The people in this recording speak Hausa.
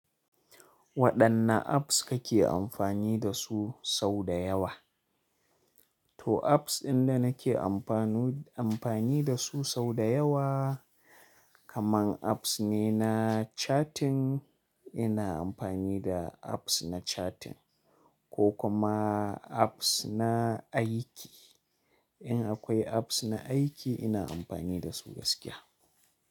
Waɗanne apps kake amfani da su sau da yawa? To apps ɗinda nake amfanu, amfani da su sau da yawa kaman apps ne na chatting, ina amfani da apps na chatting, ko kuma apps na aiki, In akwai apps na aiki ina amfani da su gaskiya.